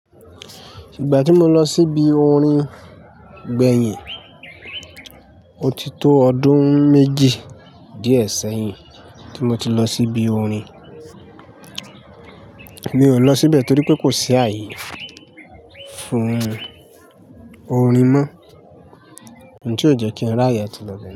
Ìgbà tí mo lọ síbi orin gbẹ̀yìn, mo ti tó ọdún méjì díẹ̀ sẹ́yìn tí mo ti lọ síbi orin. Mi ò lọ síbẹ̀ torí pé kò sí ààyè fún orin mọ́, ǹtí ó jẹ́ kí n ráyè atí lọ bẹ̀.